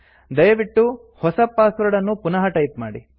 ದಯವಿಟ್ಟು ಹೊಸ ಪಾಸ್ವರ್ಡ್ ಅನ್ನು ಪುನಃ ಟೈಪ್ ಮಾಡಿ